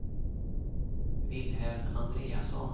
Wilhelm Andreasson